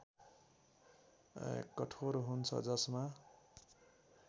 कठोर हुन्छ जसमा